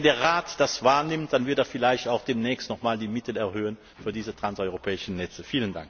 Und wenn der Rat das wahrnimmt, dann wird er vielleicht auch demnächst noch einmal die Mittel erhöhen für diese transeuropäischen Netze.